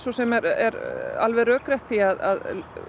sem er alveg rökrétt því að